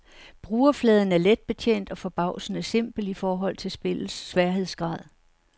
Brugerfladen er letbetjent og forbavsende simpel i forhold til spillets sværhedsgrad.